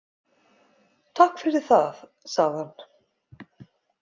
Takk fyrir það- sagði hann.